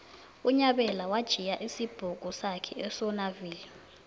unyabela watjhiya isibhuku sakhe esonaville